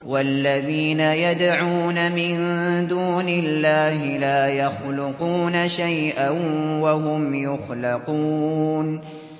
وَالَّذِينَ يَدْعُونَ مِن دُونِ اللَّهِ لَا يَخْلُقُونَ شَيْئًا وَهُمْ يُخْلَقُونَ